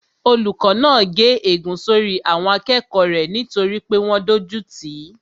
Olùkó náà gé ègún sórí àwọn akẹ́kọ̀ọ́ rẹ̀ nítorí pé wọ́n dójú tìí